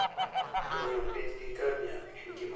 Ng'iyo piny gi ngamia en gima ber ahinya.